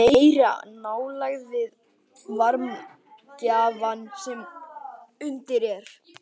Þetta sýnir meiri nálægð við varmagjafann sem undir er.